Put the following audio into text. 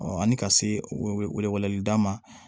ani ka se weeleli da ma